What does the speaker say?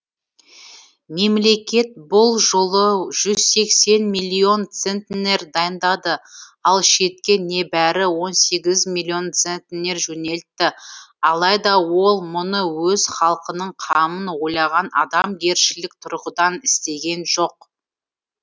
мемлекет бұл жолы жүз сексен миллион центнер дайындады ал шетке небәрі он сегіз миллион центнер жөнелтті алайда ол мұны өз халқының қамын ойлаған адамгершілік тұрғыдан істеген жоқ